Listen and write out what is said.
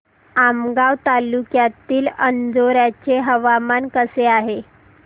आमगाव तालुक्यातील अंजोर्याचे हवामान कसे आहे